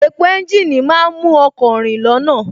Epo ẹ́ńjìnì má ń mú ọkọ̀ rìn lọ́nà